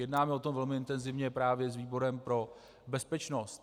Jednáme o tom velmi intenzivně právě s výborem pro bezpečnost.